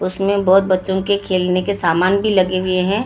उसमें बहोत बच्चों के खेलने के सामान भी लगे हुए हैं।